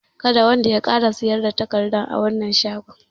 Kada wanda ya ƙara siyar da takardar a wannan shagon!